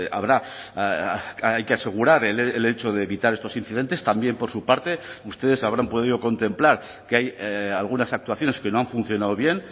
habrá hay que asegurar el hecho de evitar estos incidentes también por su parte ustedes habrán podido contemplar que hay algunas actuaciones que no han funcionado bien